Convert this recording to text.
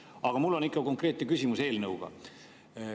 Aga mul on konkreetne küsimus eelnõu kohta.